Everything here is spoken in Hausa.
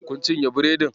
Kun cinye biredin?